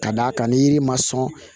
Ka d'a kan ni yiri ma sɔn